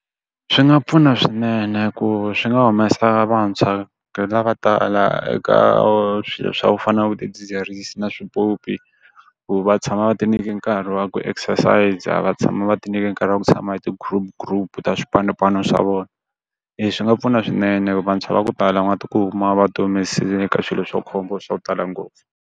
Swi nga pfuna swinene ku swi nga humesa vantshwa lavo tala eka swilo swa ku fana na vo swidzidziharisi na swiphyophyi. Ku va tshama va ti nyike nkarhi wa ku exercise-a, a va tshama va ti nyike nkarhi wa ku tshama ti group group ta swipanopano swa vona. swi nga pfuna swinene hikuva vantshwa va ku tala va nga ti kuma va ti humesile ka swilo swa khombo swa ku tala ngopfu.